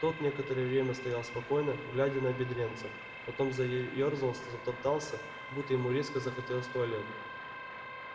тот некоторое время стоял спокойно глядя на бедренца потом заёрзал затоптался будто ему резко захотелось в туалет